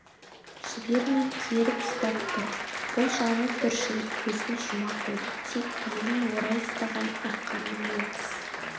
жібермей керіп ұстап тұр бұл жаны түршігіп көзін жұма қойды тек белін орай ұстаған арқанның оқыс